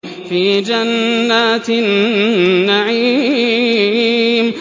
فِي جَنَّاتِ النَّعِيمِ